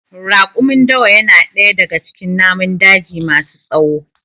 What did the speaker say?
Raƙumin Dawa ya na ɗaya daga cikin namun daji ma su tsawo